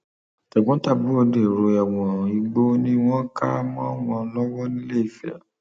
tẹgbọntàbúrò dèrò ẹwọn igbó ni wọn kà mọ wọn lọwọ nìléèfẹ